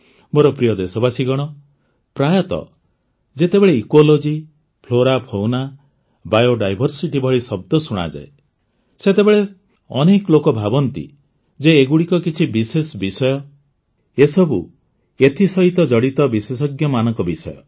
ମୋର ପ୍ରିୟ ଦେଶବାସୀଗଣ ପ୍ରାୟତଃ ଯେତେବେଳେ ଇକୋଲଜି ଫ୍ଲୋରାଫୌନା ବାୟୋଡାଇଭର୍ସିଟି ଭଳି ଶବ୍ଦ ଶୁଣାଯାଏ ସେତେବେଳେ ସେତେବେଳେ ଅନେକ ଲୋକ ଭାବନ୍ତି ଯେ ଏଗୁଡ଼ିକ କିଛି ବିଶେଷ ବିଷୟ ଏସବୁ ଏଥିସହିତ ଜଡ଼ିତ ବିଶେଷଜ୍ଞମାନଙ୍କ ବିଷୟ